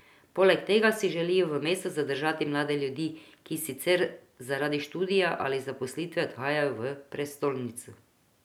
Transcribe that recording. Poleg tega si želijo v mestu zadržati mlade ljudi, ki sicer zaradi študija ali zaposlitve odhajajo v prestolnico.